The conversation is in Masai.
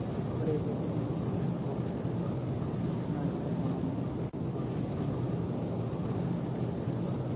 ore ilkinai pooki na keera ingonyo, okulie ngonyo naaji lymph.